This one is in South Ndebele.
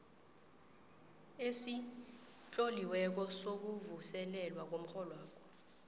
esitloliweko sokuvuselelwa komrholwakho